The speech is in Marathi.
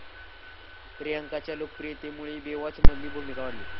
प्रियांकाच्या लोकप्रियतेमुळे 'बेवॉच'मधली भूमिका वाढली